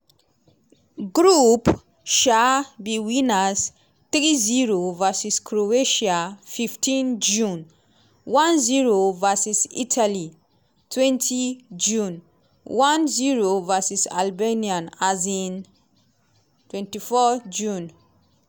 group um b winners three zero vs croatia fifteen june one zero vs italy twenty june one zero vs albania um twenty june